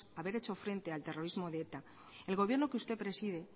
haber hecho frente al terrorismo de eta el gobierno que usted preside